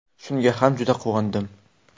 Shunga ham juda quvondim.